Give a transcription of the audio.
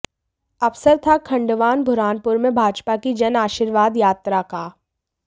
अवसर था खंडवा बुरहानपुर में भाजपा की जन आशीर्वाद यात्रा का